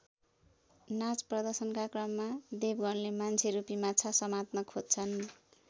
नाच प्रदर्शनका क्रममा देवगणले मान्छेरूपी माछा समात्न खोज्छन्।